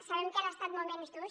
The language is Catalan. sabem que han estat moments durs